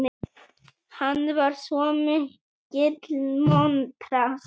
Hann var svo mikill montrass.